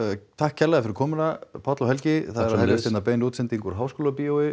takk kærlega fyrir komuna Páll og Helgi það er að hefjast hérna bein útsending úr Háskólabíói